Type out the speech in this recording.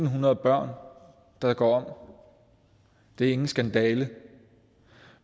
hundrede børn der går om det er ingen skandale